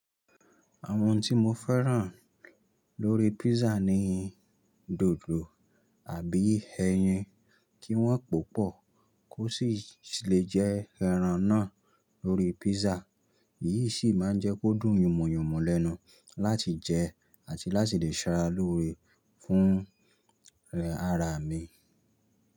Àwọn tí mo fẹ́ràn lórí písà ni dòdò àbí ẹyin. Kí wọ́n poo pọ̀ o sì lè jẹ́ ẹran náà lórí písà. Èyí sì máa ń jẹ́ kó dùn yùmuyùmu lẹ́nu láti jẹ àti láti lè ṣara lóore fún ara mi.